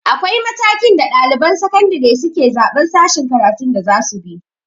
Akwai matakin da ɗaliban sakandire suke zaɓan sashen karatun da zasu bi